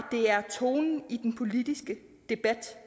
det er tonen i den politiske debat